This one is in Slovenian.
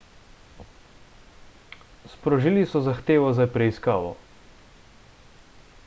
sprožili so zahtevo za preiskavo